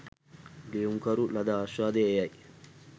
ලියුම්කරු ලද ආශ්වාදය එය යි